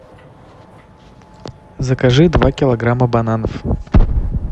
закажи два килограмма бананов